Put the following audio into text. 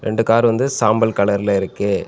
இந்த கார் வந்து சாம்பல் கலர்ல இருக்கு.